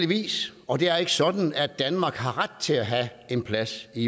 vis og det er ikke sådan at danmark har ret til at have en plads i